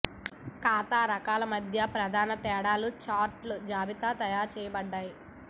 ఖాతా రకాలు మధ్య ప్రధాన తేడాలు చార్ట్లో జాబితా చేయబడ్డాయి